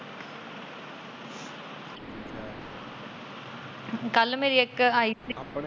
ਕੱਲ ਮੇਰੀ ਇੱਕ ਆਈ ਸੀ।